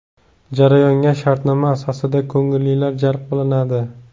Jarayonga shartnoma asosida ko‘ngillilar jalb qilinadi.